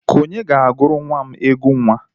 Onye ga-aguru nwa m egwu nwa?